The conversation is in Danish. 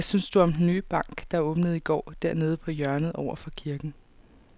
Hvad synes du om den nye bank, der åbnede i går dernede på hjørnet over for kirken?